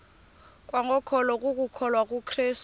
kwangokholo lokukholwa kukrestu